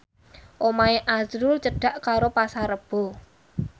omahe azrul cedhak karo Pasar Rebo